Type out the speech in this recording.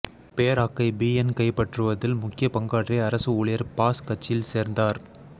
பேராக்கை BN கைப்பற்றுவதில் முக்கிய பங்காற்றிய அரசு ஊழியர் பாஸ் கட்சியில் சேர்ந்தார்